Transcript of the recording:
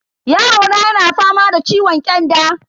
Yarona yana fama da ciwon kyanda.